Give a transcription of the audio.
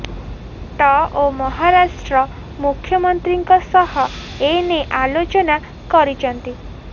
ଟ ଓ ମହାରାଷ୍ଟ୍ର ମୁଖ୍ୟମନ୍ତ୍ରୀଙ୍କ ସହ ଏନେଇ ଆଲୋଚନା କରିଛନ୍ତି